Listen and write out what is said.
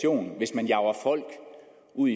ud